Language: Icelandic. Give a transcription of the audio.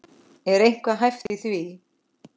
Er eitthvað hæft í því?